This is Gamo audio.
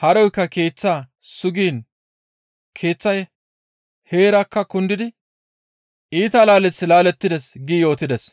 haroykka keeththaa sugiin keeththay heerakka kundidi iita laaleth laalettides» gi yootides.